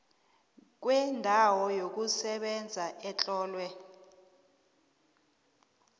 kwendawo yokusebenza etlolwe